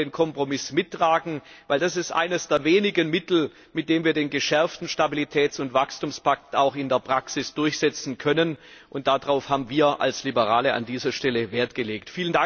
Wir werden den Kompromiss mittragen, weil das eines der wenigen Mittel ist, mit dem wir den geschärften Stabilitäts und Wachstumspakt auch in der Praxis durchsetzen können, und darauf haben wir als Liberale an dieser Stelle Wert gelegt.